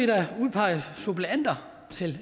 der udpeget suppleanter til